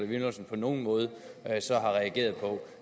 villumsen på nogen måde har reageret på